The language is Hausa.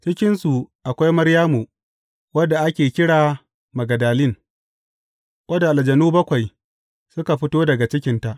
Cikinsu akwai Maryamu wadda ake kira Magdalin wadda aljanu bakwai suka fito daga cikinta.